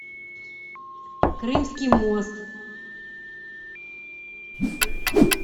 крымский мост